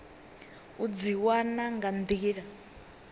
u dzi wana nga nḓila